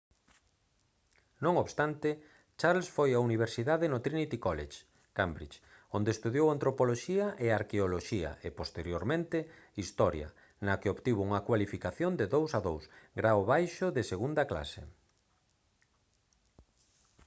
non obstante charles foi á universidade no trinity college cambridge onde estudou antropoloxía e arqueoloxía e posteriormente historia na que obtivo unha cualificación de 2:2 grao baixo de segunda clase